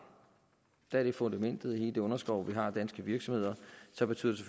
da de er fundamentet i den underskov vi har af danske virksomheder så betyder